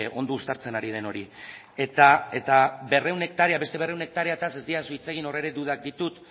ondo uztartzen ari den hori eta berrehun hektarea beste berrehun hektareaz ez didazu hitz egin hor ere dudak ditut